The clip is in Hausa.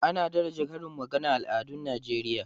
Ana daraja karin magana a al'adun Najeriya.